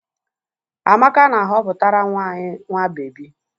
Amaka na-aghoputara nwa anyị nwa bebi